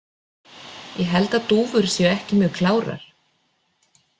Ég held að dúfur séu ekki mjög klárar.